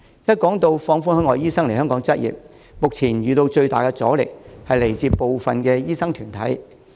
一提到放寬海外醫生來港執業，目前遇到最大的阻力，是來自部分的醫生團體。